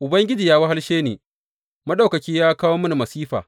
Ubangiji ya wahalshe ni, Maɗaukaki ya kawo mini masifa.